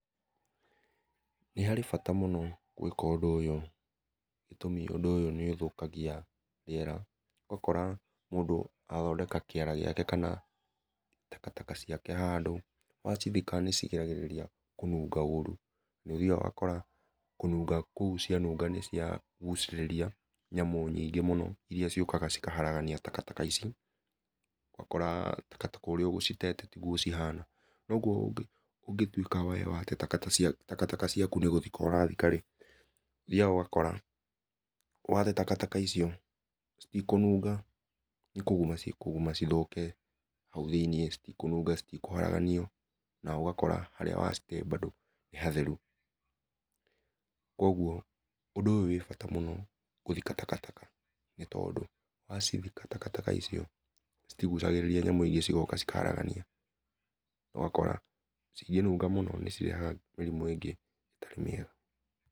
Nĩ harĩ bata gwĩka ũndũ ũyũ gĩtũmi ũndũ ũyũ nĩ ũthũkagia rĩera, ũgakora mũndũ athondeka kĩara gĩake kana taka taka ciake handũ, wacithika nĩ cirigagĩrĩria kũnunga ũru. Nĩũthiaga ũgakora kũnunga kũu cianunga nĩciagucĩrĩria nyamũ nyingĩ mũno iria ciũkaga cikahagarania taka taka ici, ũgakora taka taka ũrĩa ũgũcitete tiguo cihana . Kwoguo we ũngĩtuĩka wate taka taka ciaku nĩgũthika urathika-rĩ, ũthiaga ũgakora wate taka taka icio, citikũnunga, nĩkũguma cikũguma cithũke hau thĩiniĩ, citikũnunga, citikũhagaranio, na ũgakora harĩa wacitee mbandũ nĩ hatheru. Kũoguo undũ ũyũ wĩ bata gũthika taka taka nĩ tondũ wacithika taka taka icio citigucagĩrĩria nyamũ ingĩ cigoka cikahagarania ũgakora cingĩnunga mũno nĩcirehaga mĩrimũ ĩngĩ ĩtarĩ mĩega.